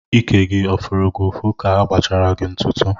Íkè gị ọ fụrụ gị ụfụ ka agbachara gị ntụtụ?